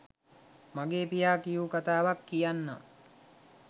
මගේ පියා කියූ කතාවක් කියන්නම්.